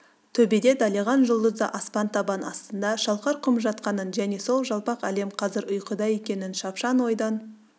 төбеде далиған жұлдызды аспан табан астында шалқар құм жатқанын және сол жалпақ әлем қазір ұйқыда екенін шапшаң ойдан